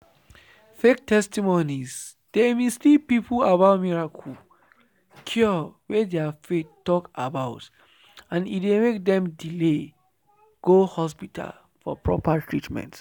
fake testimonies dey mislead people about miracle cure wey their faith talk about and e dey make dem delay go hospital for proper treatment.”